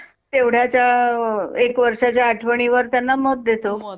तेव्हड्याच्या अ एक वर्षांच्या आठवणींवर त्यांना मत देतो.